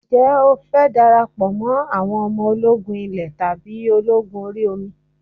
Ǹjẹ́ o fẹ́ darapọ̀ mọ́ àwọn ọmọ ológun ilé tàbí ológun orí omi?